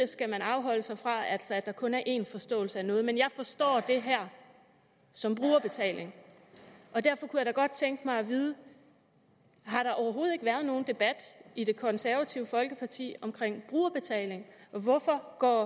skal afholde sig fra altså at der kun er én forståelse af noget men jeg forstår det her som brugerbetaling og derfor kunne jeg da godt tænke mig at vide har der overhovedet ikke været nogen debat i det konservative folkeparti om brugerbetaling hvorfor går